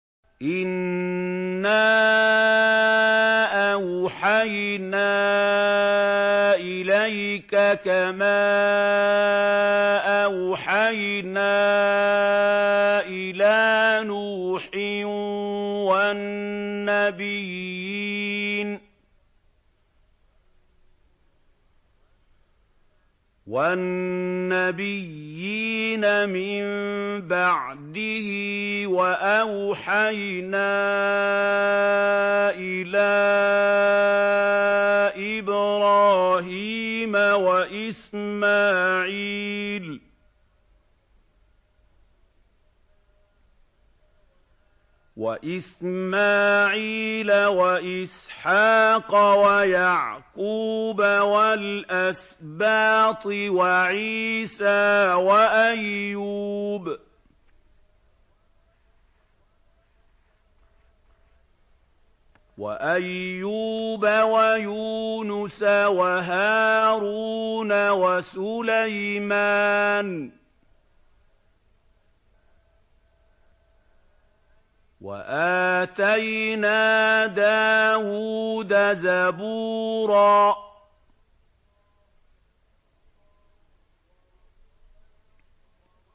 ۞ إِنَّا أَوْحَيْنَا إِلَيْكَ كَمَا أَوْحَيْنَا إِلَىٰ نُوحٍ وَالنَّبِيِّينَ مِن بَعْدِهِ ۚ وَأَوْحَيْنَا إِلَىٰ إِبْرَاهِيمَ وَإِسْمَاعِيلَ وَإِسْحَاقَ وَيَعْقُوبَ وَالْأَسْبَاطِ وَعِيسَىٰ وَأَيُّوبَ وَيُونُسَ وَهَارُونَ وَسُلَيْمَانَ ۚ وَآتَيْنَا دَاوُودَ زَبُورًا